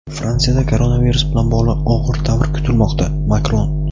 Fransiyada koronavirus bilan bog‘liq "og‘ir davr" kutilmoqda – Makron.